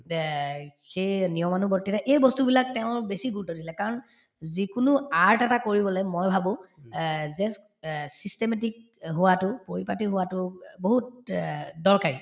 সেই নিয়মানুৱৰ্তীতা এই বস্তুবিলাক তেওঁৰ বেছি গুৰুত্ব দিছিলে কাৰণ যিকোনো art এটা কৰিবলে মই ভাবো অ just অ systematic হোৱাতো পৰিপাতি হোৱাতো অ বহুত অ দৰকাৰী